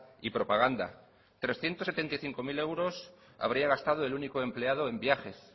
y propaganda trescientos setenta y cinco mil euros habría gastado el único empleado en viajes